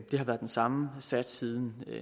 det har været den samme sats siden